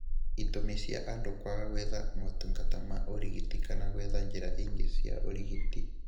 Itũmi cia andũ kwaga gwetha motungata ma ũrigiti kana gwetha njĩra ingĩ cia ũrigiti